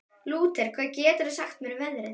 Lúter, hvað geturðu sagt mér um veðrið?